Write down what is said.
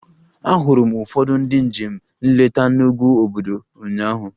Ahụrụ m ụfọdụ ndị njem nleta n'ugwu obudu ụnyaahụ